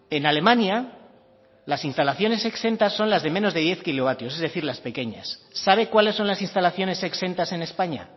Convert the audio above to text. en alemania las instalaciones exentas son las de menos de diez kilovatios es decir las pequeñas sabe cuáles son las instalaciones exentas en españa